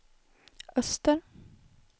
öster